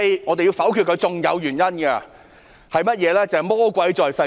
還有另一個原因，就是魔鬼在細節中。